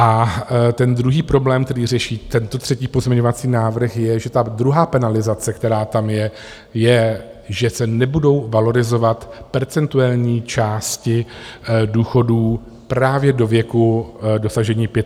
A ten druhý problém, který řeší tento třetí pozměňovací návrh, je, že ta druhá penalizace, která tam je, je, že se nebudou valorizovat percentuální části důchodů právě do věku dosažení 65 let.